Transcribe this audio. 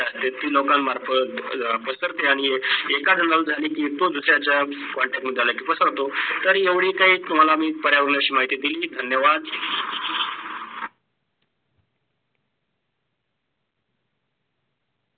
तर येवडी काही तुम्हाला मी पर्यावरणाची माहिती दिली, धन्यवाद.